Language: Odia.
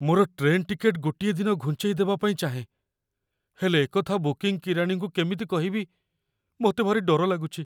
ମୋର ଟ୍ରେନ୍ ଟିକେଟ୍‌ ଗୋଟିଏ ଦିନ ଘୁଞ୍ଚେଇ ଦେବା ପାଇଁ ଚାହେଁ, ହେଲେ ଏକଥା ବୁକିଂ କିରାଣୀଙ୍କୁ କେମିତି କହିବି, ମୋତେ ଭାରି ଡର ଲାଗୁଛି।